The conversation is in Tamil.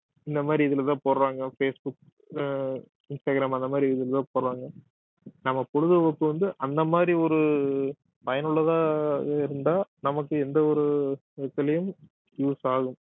இந்த மாதிரி இதுலதான் போடறாங்க பேஸ் புக் அஹ் இன்ஸ்டாகிராம் அந்த மாதிரி இதுல போடறாங்க நம்ம பொழுதுபோக்கு வந்து அந்த மாதிரி ஒரு பயனுள்ளதாக இருந்தால் நமக்கு எந்த ஒரு விதத்துலயும் use ஆகும்